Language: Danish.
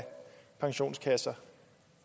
pensionskasser